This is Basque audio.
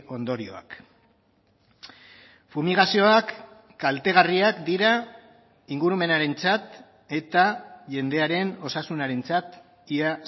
ondorioak fumigazioak kaltegarriak dira ingurumenarentzat eta jendearen osasunarentzat ia